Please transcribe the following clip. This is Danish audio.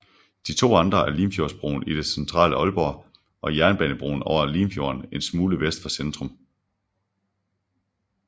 De to andre er Limfjordsbroen i det centrale Aalborg og Jernbanebroen over Limfjorden en smule vest for centrum